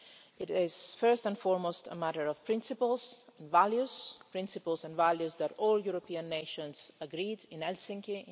It is first and foremost a matter of principles, values principles and values that all European nations agreed in Helsinki in